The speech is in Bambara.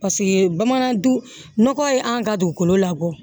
Paseke bamananw nɔgɔ ye an ka dugukolo labɔ